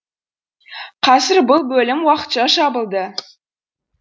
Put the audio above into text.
қазір бұл бөлім уақытша жабылды